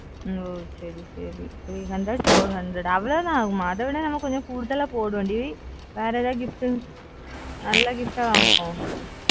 ஓஹ் சரி சரி three hundred four hundred அவளோதான் ஆகுமா அத விட கூட கூடுதலா போடுவோம் டி வேற ஏதாவது gift நல்ல gift வாங்குவோம்